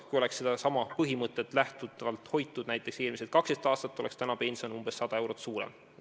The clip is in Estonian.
Kui oleks sedasama põhimõtet rakendatud näiteks eelmised 12 aastat, oleks pension praegu umbes 100 eurot suurem.